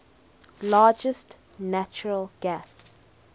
largest natural gas